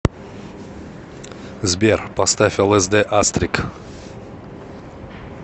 сбер поставь элэсдэ астрик